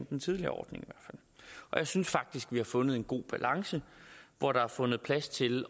den tidligere ordning jeg synes faktisk at vi har fundet en god balance hvor der er fundet plads til